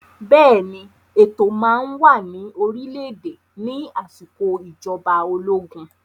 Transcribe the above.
Bẹ́ẹ̀ ni, ètò máa wà ní orílẹ̀-èdè ní àsìkò ìjọba ológun